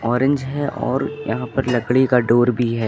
Orange है और यहाँ पर लकड़ी का डोर भी है।